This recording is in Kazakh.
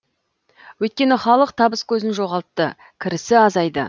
өйткені халық табыс көзін жоғалтты кірісі азайды